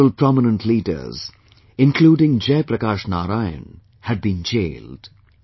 Several prominent leaders including Jai Prakash Narayan had been jailed